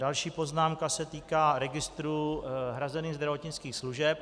Další poznámka se týká registru hrazených zdravotnických služeb.